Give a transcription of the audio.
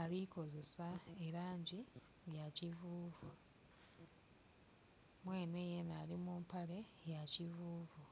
ali kukozesa elangi eya kivuvu, mwene yena ali mumpale eya kivuvu.